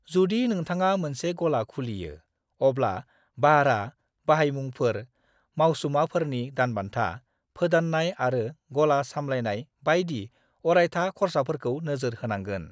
जुदि नोंथाङा मोनसे गला खुलियो, अब्ला बाह्रा, बाहायमुंफोर, मावसुमाफोरनि दानबान्था, फोदाननाय आरो गला सामलायनाय बायदि अरायथा खर्साफोरखौ नोजोर होनांगोन।